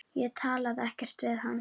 Ég talaði ekkert við hann.